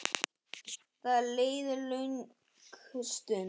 Það leið löng stund.